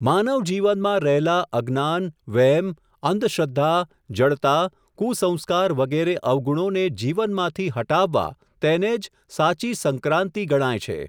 માનવ જીવનમાં રહેલા અજ્ઞાન, વ્હેમ, અંધશ્રદ્ધા, જડતા, કુંસંસ્કાર વગેરે અવગુણોને જીવનમાંથી હટાવવા તેને જ સાચી સંક્રાંન્તિ ગણાય છે.